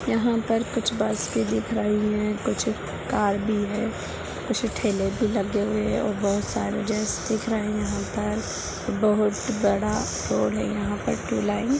यहां पर कुछ बस भी दिख रही है कुछ कार भी है कुछ ठेले भी लगे हुए हैऔर बहुत सारे ड्रेस दिख रहे है यहां पे बहुत बड़ा रोड है यहां पे टू लाइन--